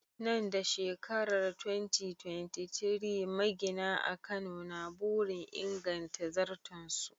Nan da shekarar 2023, magina a Kano na burin inganta zarton su.